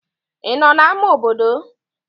Ị nọ n'ámá obodo?